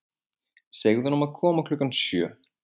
Segðu honum að koma klukkan sjö.